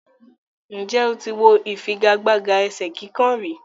Ǹjẹ́ o ti wo ìfigagbága ẹ̀sẹ́ kíkàn rí?